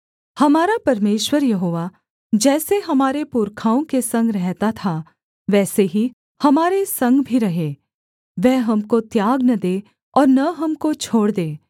हमारा परमेश्वर यहोवा जैसे हमारे पुरखाओं के संग रहता था वैसे ही हमारे संग भी रहे वह हमको त्याग न दे और न हमको छोड़ दे